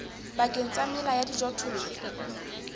pakeng tsa mela ya dijothollo